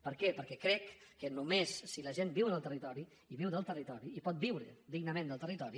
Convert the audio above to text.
per què perquè crec que només si la gent viu en el territori i viu del territori i pot viure dignament del territori